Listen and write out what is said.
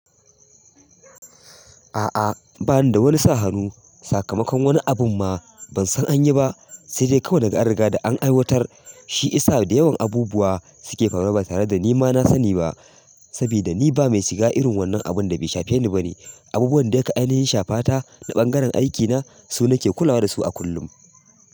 A'a, ba ni da wani sa hanu. Sakamakon wani abun ma ban san an yi ba, sai dai kawai naga an riga da an aiwatar shi. Isa da yawan abubuwa suke faruwa ba tare da ni ma na sani ba. Sabkda ni ba mai shiga irin wannan abun da bai shafe ni ba ne. Abubuwan da aka ainihi shafata da ɓangaren aikina su ne ke kulawa da su a kullum.